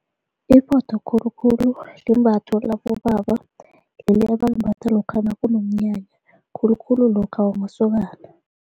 Iphotho khulukhulu limbatho labobaba, leli ebalimbatha lokha nakunomnyanya khulukhulu lokha wamasokana.